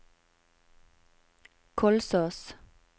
Kolsås